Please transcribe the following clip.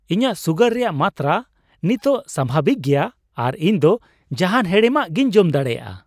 ᱤᱧᱟᱜ ᱥᱩᱜᱟᱨ ᱨᱮᱭᱟᱜ ᱢᱟᱛᱨᱟ ᱱᱤᱛᱚᱜ ᱥᱟᱵᱷᱟᱵᱤᱠ ᱜᱮᱭᱟ ᱟᱨ ᱤᱧ ᱫᱚ ᱡᱟᱦᱟᱱ ᱦᱮᱲᱮᱢᱟᱜ ᱜᱤᱧ ᱡᱚᱢ ᱫᱟᱲᱮᱭᱟᱜᱼᱟ ᱾